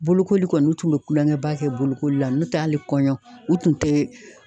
Bolokoli kɔni, u tun be kulonkɛ ba kɛ bolokoli la, n'o tɛ hali kɔɲɔ u tun te